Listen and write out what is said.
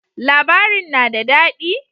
Labarin na da dadi?